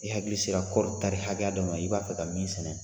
I hakili sera kɔɔri tari hakɛya dɔ ma i b'a fɛ ka min sɛnɛ